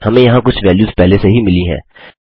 हमें यहाँ कुछ वैल्युस पहले से ही मिली हैं